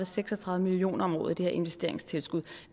seks og tredive million kroner om året i det her investeringstilskud